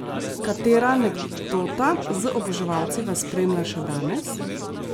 Katera anekdota z oboževalci vas spremlja še danes?